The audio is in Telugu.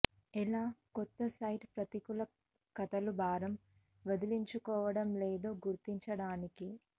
ఎలా కొత్త సైట్ ప్రతికూల కథలు భారం వదిలించుకోవటం లేదో గుర్తించడానికి